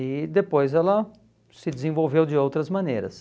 E depois ela se desenvolveu de outras maneiras.